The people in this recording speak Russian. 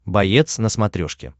боец на смотрешке